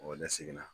ne seginna